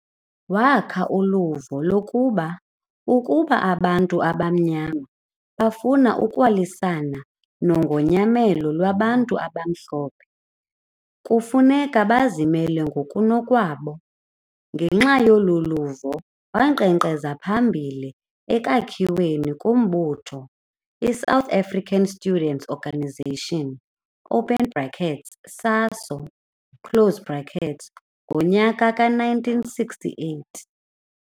Wakha uluvo lokuba ukuba abantu abamnyama bafuna ukulwisana nongonyamelo lwabantu abamhlophe kufuneka bazimele ngokunokwabo, ngenxa yoluluvo wanqenqeza phambili ekwakhiweni kombutho iSouth African Students' Organization, open brackets SASO close brackets ngonyaka we-1968.